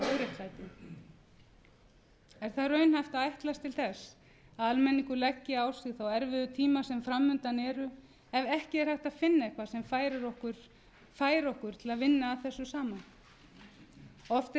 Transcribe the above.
að ætlast til þess að almenningur leggi á sig þá erfiðu tíma sem fram undan eru ef ekki er hægt að finna eitthvað sem fær okkur til að vinna að þessu saman oft er rætt